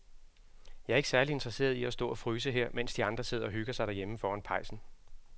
Jeg er ikke særlig interesseret i at stå og fryse her, mens de andre sidder og hygger sig derhjemme foran pejsen.